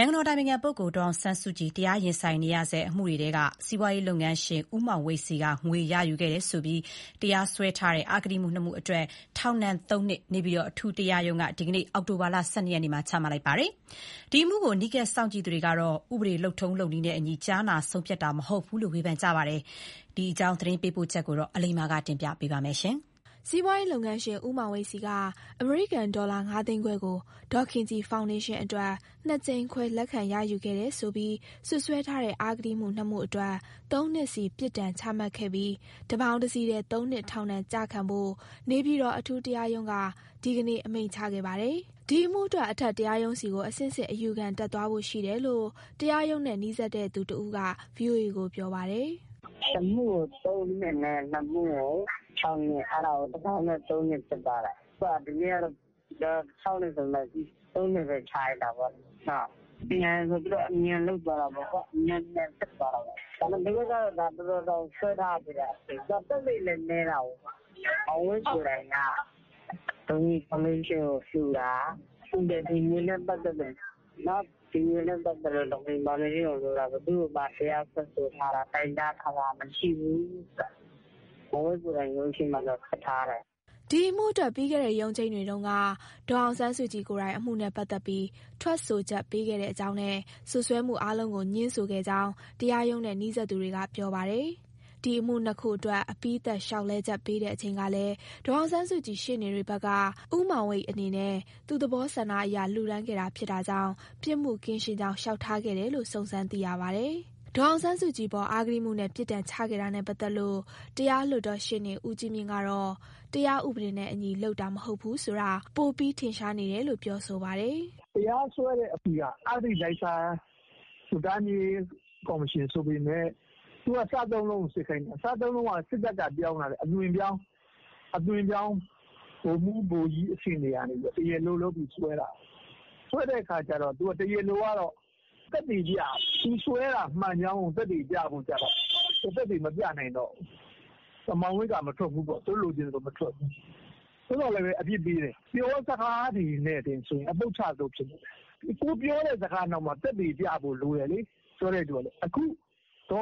ိုင်ငံတော်အတိုင်ပင်ခံပုဂ္ဂိုလ်ဒေါ်အောင်ဆန်းစုကြည် တရားရင်ဆိုင်နေရဆဲ အမှုတွေထဲက စီးပွားရေး လုပ်ငန်းရှင် ဦးမောင်ဝိတ်ဆီက ငွေရယူခဲ့တယ်ဆိုပြီး တရားစွဲထားတဲ့ အဂတိမှု ၂ မှုအတွက် ထောင်ဒဏ် ၃ နှစ် နေပြည်တော် အထူးတရားရုံးက ဒီနေ့ အောက်တိုဘာ ၁၂ ရက်မှာ ချမှတ်လိုက်ပါတယ်။ ဒီအမှုကို အနီးကပ်စောင့်ကြည့်သူတွေကတော့ ဥပဒေ လုပ်ထုံးလုပ်နည်းနဲ့အညီ ကြားနာဆုံးဖြတ်တာမဟုတ်ဘူးဆိုပြီး ဝေဖန် ပါတယ်။ ဒီအကြောင်း သတင်းပေးပို့ချက်ကို အလိမ္မာကတင်ပြပေးထားပါတယ်။ စီးပွားရေးလုပ်ငန်းရှင် ဦးမောင်ဝိတ်ဆီက အမေရိကန်ဒေါ်လာ ငါးသိန်းခွဲကို ဒေါ်ခင်ကြည်ဖောင်ဒေးရှင်းအတွက် ၂ ကြိမ် ခွဲ လက်ခံရယူခဲ့တယ်ဆိုပြီး စွပ်စွဲထားတဲ့ အဂတိမှု ၂ မှုအတွက် ၃ နှစ်စီ ပြစ်ဒဏ်ချမှတ်ခဲ့ပြီး တပေါင်းတစည်းတည်း ၃ နှစ်ထောင်ဒဏ်ကျခံဖို့ နေပြည်တော် အထူးတရားရုံးက ဒီနေ့ အမိန့်ချခဲ့ပါတယ်။ ဒီအမှုအတွက် အထက်တရားရုံးဆီကို အဆင့်ဆင့် အယူခံတက်သွားဖို့ရှိတယ်လို့ တရားရုံးနဲ့နီးစပ်သူတဦးက ဗွီအိုအေကိုပြောပြပါတယ်။ “တမှုကို ၃ နှစ်နဲ့ ၂ မှုကို ၆ နှစ်၊ အဲဒါကိုတပေါင်းတည်း ၃ နှစ်ဖြစ်သွားတယ်။ ၆ နှစ်ဆိုပေမယ့် ၃ နှစ်ပဲကျတာပေါ့။ သူတို့ကအမြန်လုပ် အမြန်စစ်သွားတာပေါ့။ နောက် သက်သေလည်းနည်းတာကို။ မောင်ဝိတ် ကိုယ်တိုင် ဒေါ်ခင်ကြည်ဖောင်ဒေးရှင်းကို လှူတာ။ ဒီအတွက် ဘယ်သူ့ကိုမှ တိုင်တန်းတာ၊ တရားစွဲဆိုတာမရှိဘူးလို့ ထွက်ထားခဲ့တယ်။” ဒီအမှုအတွက် ပြီးခဲ့တဲ့ရုံးချိန်းတွေတုန်းက ဒေါ်အောင်ဆန်းစုကြည်ကိုယ်တိုင် အမှုနဲ့ပတ်သက်ပြီး ထွက်ဆိုချက်ပေးခဲ့ကြောင်းနဲ့ စွပ်စွဲမှုအားလုံးကို ငြင်းဆိုခဲ့ကြောင်း တရားရုံးနဲ့နီးစပ်သူတွေက ပြောပြပါတယ်။ ဒီအမှု ၂ ခုအတွက် အပြီးသတ်လျှောက်လဲချက်ပေးချိန်မှာလည်း ဒေါ်အောင်ဆန်းစုကြည် ရှေ့နေတွေဘက်က ဦးမောင်ဝိတ်အနေနဲ့ သူ့သဘောဆန္ဒအရ လှူဒါန်းခဲ့တာဖြစ်တာကြောင့် ပြစ်မှုကင်းရှင်းကြောင်း လျှောက်ထားခဲ့တယ်လို့ စုံစမ်းသိရပါတယ်။ ဒေါ်အောင်ဆန်းစုကြည်အပေါ် အဂတိမှုနဲ့ ပြစ်ဒဏ်ချခဲ့တာနဲ့ပတ်သက်လို့ တရားလွှတ်တော်ရှေ့နေ ဦးကြီးမြင့်ကတော့ တရားဥပဒေနဲ့အညီလုပ်တာ မဟုတ်ဘူးဆိုတာ ပိုပြီး ထင်ရှားနေတယ်လို့ ပြောပါတယ်။ “တရားစွဲတဲ့အထိက အဂတိလိုက်စားမှု စုံစမ်းရေးကော်မရှင်ပေမယ့် သူက စသုံးလုံးကို စစ်ခိုင်းတာ။ စသုံးလုံးဆိုတာ စစ်တပ်ကအသွင်ပြောင်း ဗိုလ်ကြီးတွေကနေ တရားလိုလုပ်စွဲတာ။ စွဲတဲ့အခါ တရားလိုက သက်သေပြတာ။ တရားလိုက သူစွဲတာမှန်ကြောင်း သက်သေပြရတာကိုတော့ မောင်ဝိတ်ကမထွက်ဘူးပေါ့။ သို့သော်လည်း အပြစ်ပေးတယ်။ ပြောစကားတွေနဲ့ပဲဆိုရင် အပုပ်ချသလိုဖြစ်တယ်။ ကိုယ်ပြောတဲ့စကားနောက်မှာ သက်သေပြဖို့လိုတယ်။ ဒေါ်အော